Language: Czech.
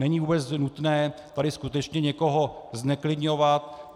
Není vůbec nutné tady skutečně někoho zneklidňovat.